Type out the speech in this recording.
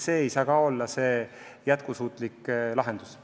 See ei saa olla jätkusuutlik lahendus.